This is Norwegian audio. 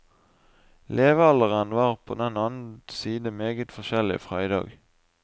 Levealderen var på den annen side meget forskjellig fra i dag.